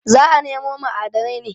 Za a nemo ma'adanai ne.